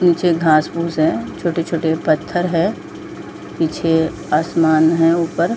नीचे घास फूस है छोटे - छोटे पत्थर है पीछे आसमान हे ऊपर ।